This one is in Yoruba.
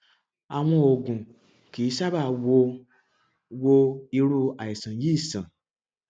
àwọn oògùn kì í sábà wo wo irú àìsàn yìí sàn